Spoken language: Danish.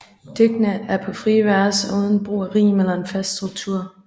Digtene er på frie vers og uden brug af rim eller en fast struktur